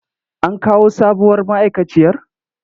An kawo sabuwar ma'aikaciyar?